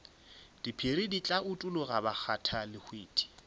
diphiri di tla utologa bakgathalehwiti